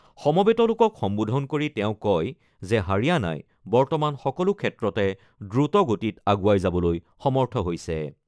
সমবেত লোকক সম্বোধন কৰি তেওঁ কয় যে হাৰিয়ানাই বৰ্তমান সকলো ক্ষেত্ৰতে দ্ৰুত গতিত আগুৱাই যাবলৈ সমৰ্থ হৈছে।